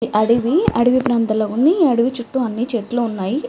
ఈ అడవి అడవి ప్రాంతం లా ఉంది ఈ అడవి చుట్టూ అన్ని చెట్లు ఉన్నాయి.